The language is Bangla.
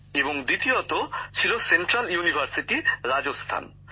আর দ্বিতীয়টি ছিল সেন্ট্রাল ইউনিভার্সিটি রাজস্থান